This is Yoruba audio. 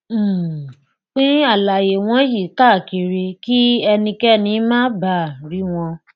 um pín àlàyé wọnyí káàkiri kí ẹnikẹni má baà rí wọn